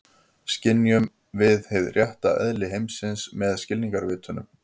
Skynjum við hið rétta eðli heimsins með skilningarvitunum?